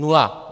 Nula!